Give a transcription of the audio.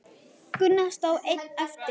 Gunnar stóð einn eftir.